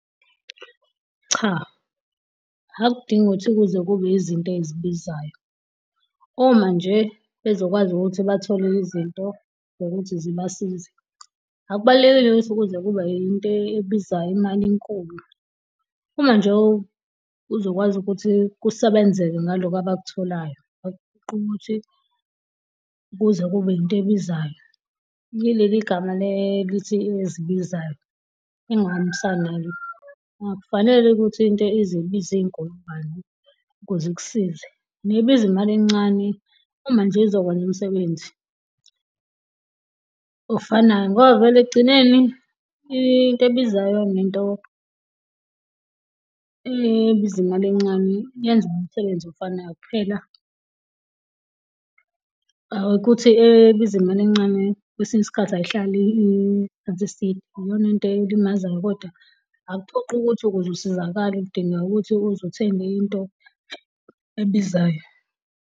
Cha, akudingi ukuthi kuze kube izinto ezibizayo, oma nje bezokwazi ukuthi bathole izinto zokuthi zibasize. Akubalulekile ukuthi kuze kube into ebizayo imali enkulu, uma nje uzokwazi ukuthi kusebenzeke ngaloko abakutholayo, akuphoqi ukuthi kuze kube into ebizayo. Yileli gama elithi ezibizayo engingahambisani nalo. Akufanele ukuthi into izibize iy'nkulungwane ukuze ik'size nebizi imali encane uma nje izokwenza umsebenzi ofanayo. Ngoba vele ek'gcineni into ebizayo nento ebiza imali encane yenza umsebenzi ofanayo kuphela ukuthi ebiza imali encane kwesinye isikhathi ayihlali isikhathi eside iyona into elimazayo kodwa akuphoqi ukuthi ukuzu sizakale udinga ukuthi uze uthenge into ebizayo.